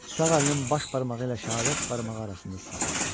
Sağ əlinin baş barmağı ilə şəhadət barmağı arasında saxladı.